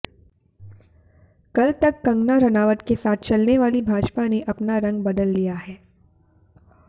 कल तक कंगना राणावत के साथ चलने वाली भाजपा ने अपना रंग बदल लिया है